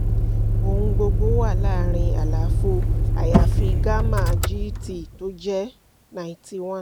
ohun gbogbo wà láàrín àlàfo àyàfi gamma gt tí ó jé 91